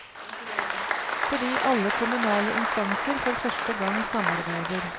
Fordi alle kommunale instanser for første gang samarbeider.